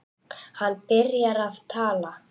Hann byrjar að tala.